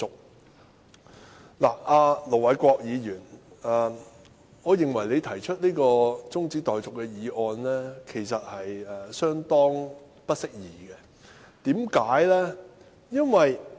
我認為盧偉國議員提出這項中止待續議案，相當不適宜，為甚麼？